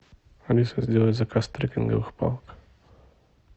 алиса сделай заказ трекинговых палок